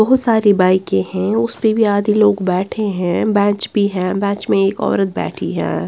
बहुत सारी बाइके हैं उसपे भी आदि लोग बैठे हैं बेंच भी हैं बेंच में एक औरत बैठी है।